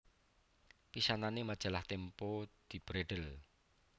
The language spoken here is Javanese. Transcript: Pisanané Majalah Tempo dibredhel